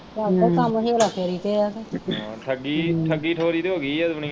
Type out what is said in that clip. ਠੱਗੀ ਠੱਗੀ ਠੋਰੀ ਤੇ ਹੋਗੀਆਂ ਦੁਨੀਆ।